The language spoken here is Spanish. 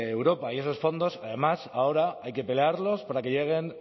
europa y esos fondos además ahora hay que pelearlos para que lleguen